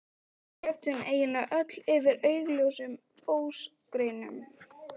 Og við grétum eiginlega öll yfir augljósum ósigrinum.